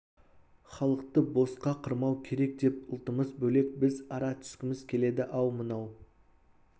халықты босқа қырмау керек деп ұлтымыз бөлек біз ара түскіміз келеді ал мынау